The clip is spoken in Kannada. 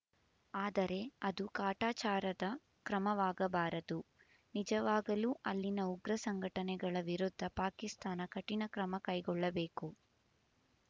ಆದರೆ ಅದು ಕಾಟಾಚಾರದ ಕ್ರಮವಾಗಬಾರದು ನಿಜವಾಗಲೂ ಅಲ್ಲಿನ ಉಗ್ರ ಸಂಘಟನೆಗಳ ವಿರುದ್ಧ ಪಾಕಿಸ್ತಾನ ಕಠಿಣಕ್ರಮ ಕೈಗೊಳ್ಳಬೇಕು